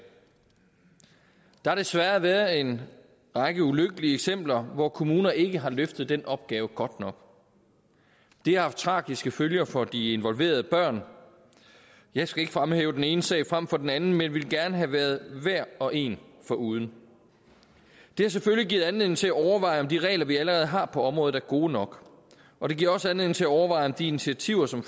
der har desværre været en række ulykkelige eksempler hvor kommuner ikke har løftet den opgave godt nok det har haft tragiske følger for de involverede børn jeg skal ikke fremhæve den ene sag frem for den anden men ville gerne have været hver og én foruden det har selvfølgelig givet anledning til at overveje om de regler vi allerede har på området er gode nok og det giver også anledning til at overveje om de initiativer som